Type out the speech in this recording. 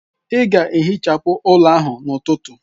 Ị ga-ehichapụ ụlọ ahụ n'ụtụtụ!